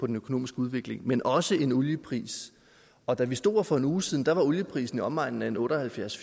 den økonomiske udvikling men også en oliepris og da vi stod her for en uge siden var olieprisen i omegnen af otte og halvfjerds